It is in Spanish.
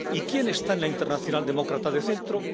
¿Y quién está en la Internacional Demócrata de Centro?